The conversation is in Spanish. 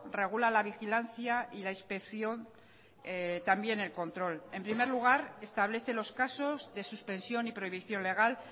regula la vigilancia y la inspección también el control en primer lugar establece los casos de suspensión y prohibición legal